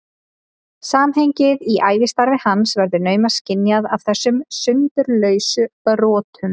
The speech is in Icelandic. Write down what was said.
Samhengið í ævistarfi hans verður naumast skynjað af þessum sundurlausu brotum.